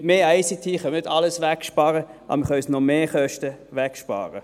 Mit mehr ICT können wir nicht alles wegsparen, aber wir können zusätzliche Mehrkosten wegsparen.